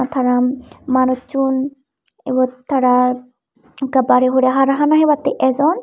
tara manuchun ibot tara ekka bare urey hana hebatte ejon.